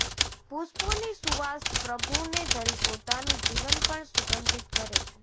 પુષ્પોની સુવાસ પ્રભુને ધરી પોતાનું જીવન પણ સુંગધીત કરે છે